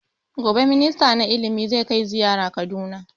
Gobe minista na ilimi zai kai zaiyara kaduna